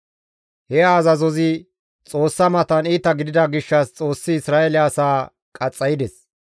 He azazozi Xoossa matan iita gidida gishshas Xoossi Isra7eele asaa qaxxaydes.